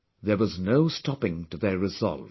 There was no stopping to their resolve